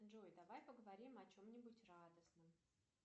джой давай поговорим о чем нибудь радостном